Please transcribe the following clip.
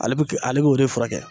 Ale bi ale b'o de fura kɛ.